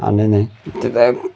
नाय नाय इथ काय कुट--